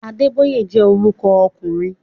Adébóyè jẹ́ orúkọ ọkùnrin